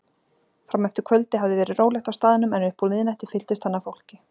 Frameftir kvöldi hafði verið rólegt á staðnum en upp úr miðnætti fylltist hann af fólki.